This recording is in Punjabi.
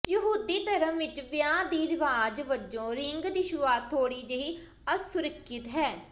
ਯਹੂਦੀ ਧਰਮ ਵਿਚ ਵਿਆਹ ਦੀ ਰਿਵਾਜ ਵਜੋਂ ਰਿੰਗ ਦੀ ਸ਼ੁਰੂਆਤ ਥੋੜ੍ਹੀ ਜਿਹੀ ਅਸੁਰੱਖਿਅਤ ਹੈ